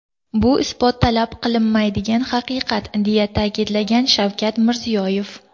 Bu isbot talab qilmaydigan, haqiqat”, deya ta’kidlagan Shavkat Mirziyoyev.